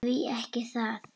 Því ekki það?